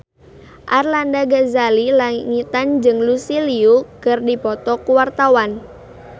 Arlanda Ghazali Langitan jeung Lucy Liu keur dipoto ku wartawan